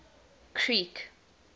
creek